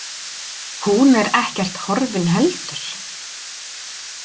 Hún er ekkert horfin heldur.